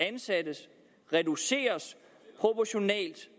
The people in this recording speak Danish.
ansatte reduceres proportionalt